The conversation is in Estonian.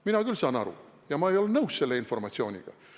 Mina küll saan aru ja ma ei ole nõus selle informatsiooniga.